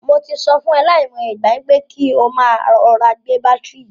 Mo ti sọ fún e lai mo iye ìgbà, pé kí o máa rọra gbé bátìrì yìí.